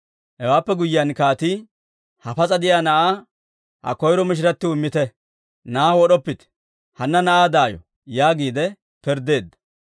Hewaappe guyyiyaan kaatii, «Ha pas'a de'iyaa na'aa ha koyro mishiratiw immite; na'aa wod'oppite. Hanna na'aa daayo!» yaagiide pirddeedda.